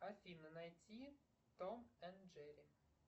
афина найти том энд джерри